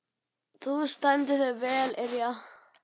Þú stendur þig vel, Irja!